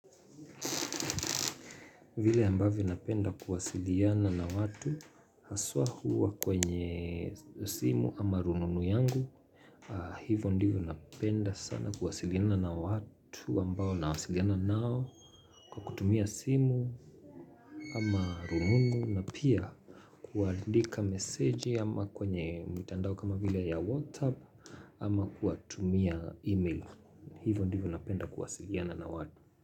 Vile ambavyo napenda kuwasiliana na watu haswa huwa kwenye simu ama rununu yangu. Hivyo ndivyo napenda sana kuwasiliana na watu ambao na wasiliana nao kwa kutumia simu ama rununu na pia kuandika meseji ama kwenye mtandao kama vile ya WhatsApp ama kuwatumia email. Hivyo ndivyo napenda kuwasiliana na watu.